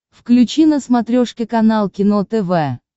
включи на смотрешке канал кино тв